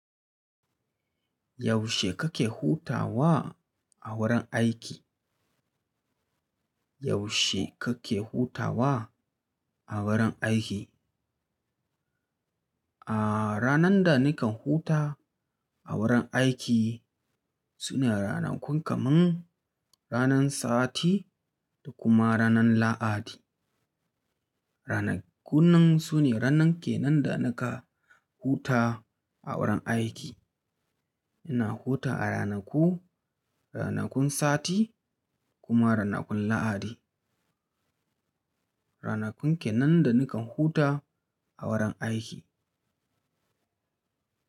Yaushe kake hutawa a wurin aiki? Yaushe kake hutawa a wurin aiki? A ranan da nikan huta a gurin aiki sune ranakun kaman, ranan sati da kuma ranan lahadi. Ranakun nan sune ranan ke nan da nikan huta a wurin aiki. Ina hutawa a ranku, ranakun Sati kuma ranakun Lahadi. Ranakun ke nan da nikan huta a gurin aiki.